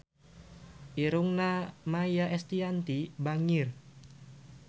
Irungna Maia Estianty bangir